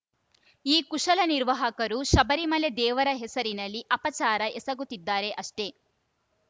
ಈ ಕುಶಲ ನಿರ್ವಾಹಕರು ಶಬರಿಮಲೆ ದೇವರ ಹೆಸರಿನಲ್ಲಿ ಅಪಚಾರ ಎಸಗುತ್ತಿದ್ದಾರೆ ಅಷ್ಟೇ